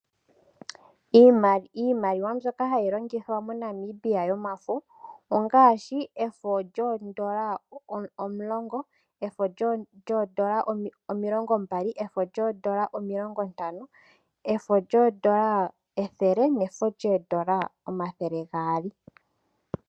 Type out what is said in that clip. Iimaliwa mbyoka hayi longithwa moNamibia yomafo ongaashi efo lyoondola omulongo, efo lyoondola omilongo mbali, efo lyoondola omilongo ntano, efo lyoondola ethele, nefo lyoondola omathele gaali.